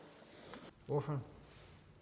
hvor fra